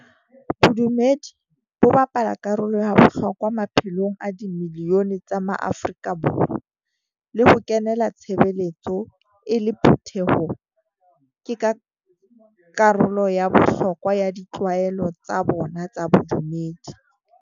Bodumedi bo bapala karolo ya bohlokwa maphelong a di milione tsa maAfrika Borwa, le ho kenela tshebeletso e le phutheho ke ka karolo ya bohlokwa ya ditlwaelo tsa bona tsa bodumedi.